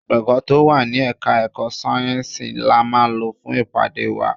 Gbọ̀ngán tó wà ní Ẹ̀ka-ẹ̀kọ́ sayensi la máa lò fún ìpàdé wa.